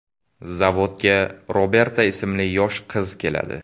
Zavodga Roberta ismli yosh qiz keladi.